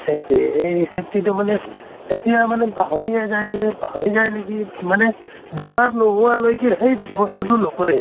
safety এই safety তো মানে এতিয়া মানে পাহৰিয়ে যায় যে পাহৰি যায় নিকি। মানে বেমাৰ নোহোৱালৈকে সেই বস্তুটো নকৰে।